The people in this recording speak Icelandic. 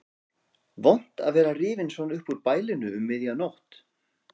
Vont að vera rifinn svona upp úr bælinu um miðja nótt.